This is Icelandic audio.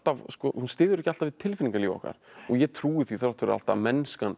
hún styður ekki alltaf við tilfinningalíf okkar og ég trúi því þrátt fyrir allt að mennskan